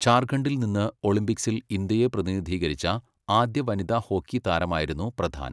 ഝാർഖണ്ഡിൽ നിന്ന് ഒളിമ്പിക്സിൽ ഇന്ത്യയെ പ്രതിനിധീകരിച്ച ആദ്യ വനിതാ ഹോക്കി താരമായിരുന്നു പ്രധാൻ.